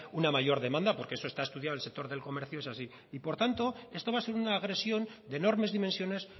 una mayor demanda porque eso está estudiado el sector del comercio es así y por tanto esto va a ser una agresión de enormes dimensiones